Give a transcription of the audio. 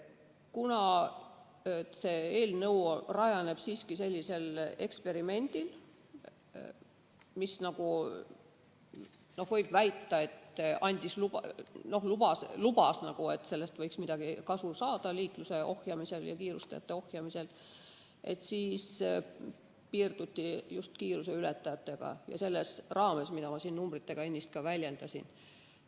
Kuna see eelnõu rajaneb siiski sellisel eksperimendil, mis, võib väita, lubas, et sellest võiks mingit kasu saada liikluse ja kiirustajate ohjeldamisel, siis piirduti just kiiruseületajatega ja seda selle raames, mida ma siin ennist numbritega väljendasin.